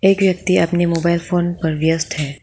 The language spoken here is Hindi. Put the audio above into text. ये व्यक्ति अपने मोबाइल फोन पर व्यस्त है।